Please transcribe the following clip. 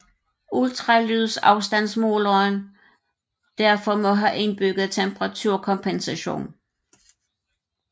Ultralydsafstandsmåleren derfor må have indbygget temperaturkompensation